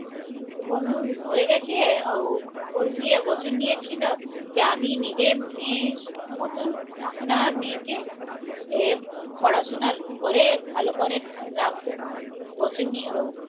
ওর বন্ধু মরে গেছে ওর বিয়ে বছর নিয়েছিল যে আমি নিজে মেয়ে মতন আপনারা মেয়েকে এ পড়াশুনার করে ভালো করে রাখবো বসে ই